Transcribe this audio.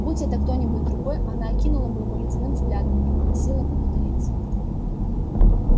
будь это кто-нибудь другой она окинула бы его ледяным взглядом и попросила бы удалиться